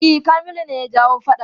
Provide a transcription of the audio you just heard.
E, Kamilu ne ya jawo faɗan.